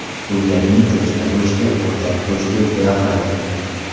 Bu yerning cho‘chqa go‘shti, o‘rdak go‘shti juda yoqadi.